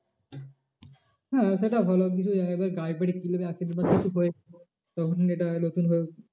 হ্যাঁ সেটা ভালো এবার গাড়ি ফাড়ি accident বা কিছু হয়েছে তখন এটা নতুন ভাবে